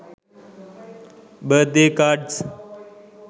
birthday cards